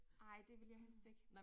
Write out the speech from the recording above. Nej det vil jeg helst ikke